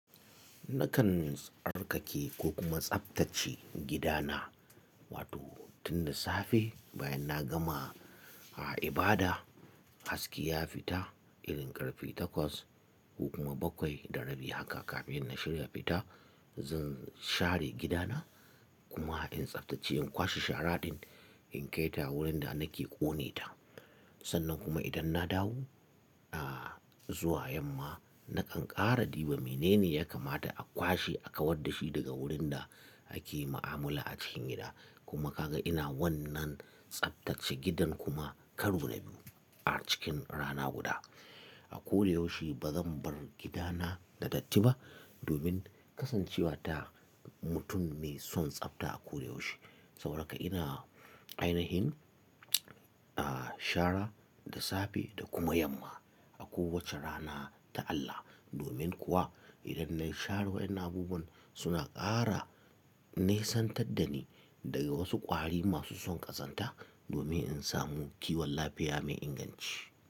Nakan tsarkake ko kuma tsaftace gidana, wato tun da safe bayan na gama a ibada, haske ya fita, irin ƙarfe takwas ko kuma bakwai da rabi haka kafin na shirya fita, zan share gidana kuma in tsaftace in kwashe sharaɗin in kai ta wurin da nake ƙone ta. Sannan kuma idan na dawo, a zuwa yamma, nakan ƙara ɗiba. Menene ya kamata a kwashe, a kawar da shi daga wurin da ake ma'amala a cikin gida. Kuma ka ga ina wannan tsaftace gidan kuma karo na biyu a cikin rana guda. A ko da yaushe ba zan bar gidana ya datti ba domin kasancewa ta mutum mai son tsabta a ko da yaushe. Saboda haka ina ainihin, a share da safe da kuma yamma a kowace rana ta Allah. Domin kuwa idan na share wayen abubuwan suna ƙara nisantadda ni daga wasu ƙwari masu son ƙazanta domin in samu kiwon lafiya mai inganci.